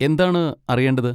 എന്താണ് അറിയേണ്ടത്?